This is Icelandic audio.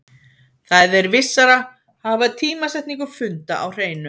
Það er vissara að hafa tímasetningu funda á hreinu.